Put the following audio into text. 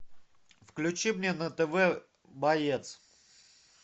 включи мне на тв боец